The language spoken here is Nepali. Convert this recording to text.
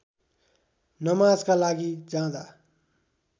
नमाजका लागि जाँदा